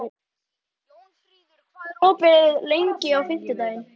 Jónfríður, hvað er opið lengi á fimmtudaginn?